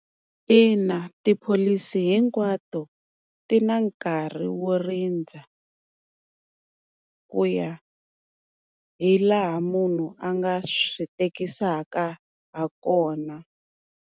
Ina tipholisi hinkwato ti na nkarhi wo rindza. Ku ya hi laha munhu a nga swi tekisaka ha kona.